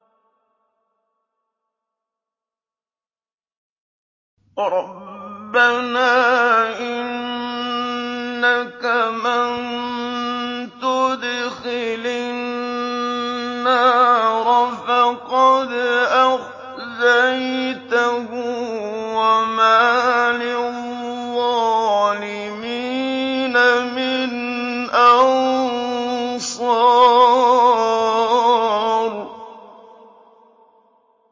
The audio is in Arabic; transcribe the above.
رَبَّنَا إِنَّكَ مَن تُدْخِلِ النَّارَ فَقَدْ أَخْزَيْتَهُ ۖ وَمَا لِلظَّالِمِينَ مِنْ أَنصَارٍ